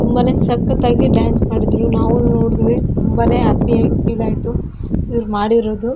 ತುಂಬಾನೇ ಸಕ್ಕತ್ತಾಗಿ ಡಾನ್ಸ್ ಮಾಡಿದ್ರು ನಾವು ನೋಡಿದ್ವಿ ತುಂಬಾನೇ ಹ್ಯಾಪಿ ಆಗಿ ಫೀಲ್ ಆಯಿತು ಇವರು ಮಾಡಿರೋದು.